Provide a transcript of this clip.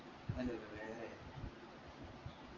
അതല്ല ഇത് വേറെ ആയിരുന്നു